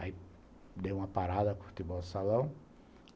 Aí, dei uma parada com o futebol de salão.